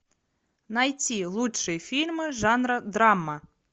найти лучшие фильмы жанра драма